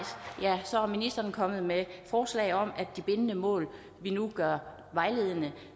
ja så er ministeren kommet med forslag om at de bindende mål vi nu gør vejledende